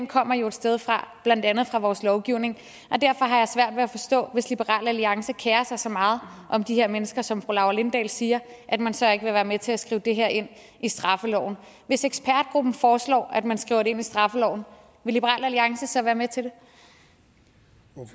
kommer jo et sted fra blandt andet fra vores lovgivning og derfor har jeg svært ved at forstå hvis liberal alliance kerer sig så meget om de her mennesker som fru laura lindahl siger at man så ikke vil være med til at skrive det her ind i straffeloven hvis ekspertgruppen foreslår at man skriver det ind i straffeloven vil liberal alliance så være med til